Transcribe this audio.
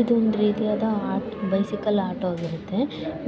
ಇದು ಒಂದು ರೀತಿಯಾದ ಬೈಸಿಕಲ್ ಆಟೋ ಆಗಿರುತ್ತೆ